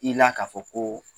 I la ka fɔ ko